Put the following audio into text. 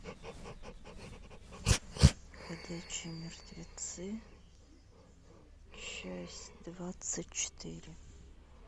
ходячие мертвецы часть двадцать четыре